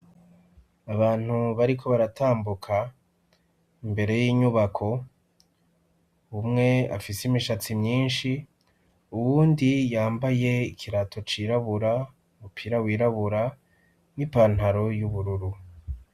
Abantu bariko baratambuka imbere y'inyubako umwe afise imishatsi myinshi uwundi yambaye ikirato cirabura, umupira wirabura n'ipantaro y'ubururu.